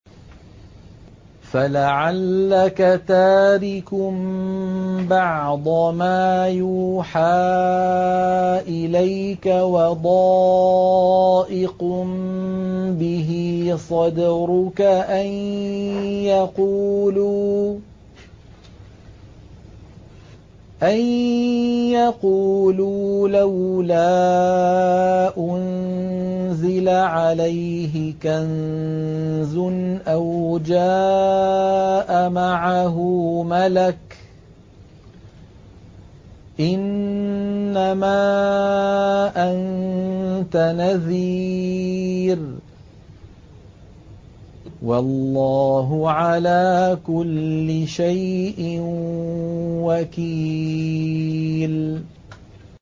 فَلَعَلَّكَ تَارِكٌ بَعْضَ مَا يُوحَىٰ إِلَيْكَ وَضَائِقٌ بِهِ صَدْرُكَ أَن يَقُولُوا لَوْلَا أُنزِلَ عَلَيْهِ كَنزٌ أَوْ جَاءَ مَعَهُ مَلَكٌ ۚ إِنَّمَا أَنتَ نَذِيرٌ ۚ وَاللَّهُ عَلَىٰ كُلِّ شَيْءٍ وَكِيلٌ